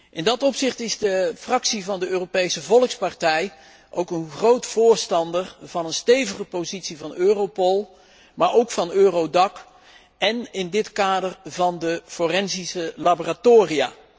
In dat verband is de Fractie van de Europese Volkspartij ook een groot voorstander van een stevige positie van Europol, maar ook van Eurodac, en in dit kader van de forensische laboratoria.